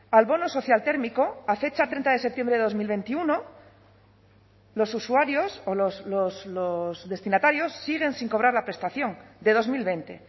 al bono social térmico a fecha treinta de septiembre de dos mil veintiuno los usuarios o los destinatarios siguen sin cobrar la prestación de dos mil veinte